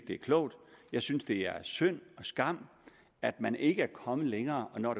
det er klogt jeg synes det er synd og skam at man ikke er kommet længere når